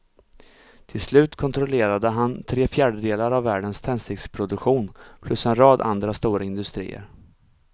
Till slut kontrollerade han tre fjärdedelar av världens tändsticksproduktion plus en rad andra stora industrier.